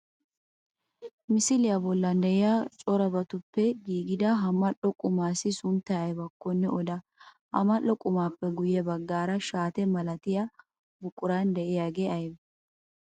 Misiliyaa bollan de'iyaa corabatuppe giigida ha mal'o qumaassi sunttayi ayibakkone oda? Ha mal'o qumaappe guyye baggaara shaate malatiya buquran de'iyaage ayibee?